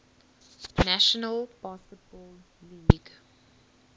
national basketball league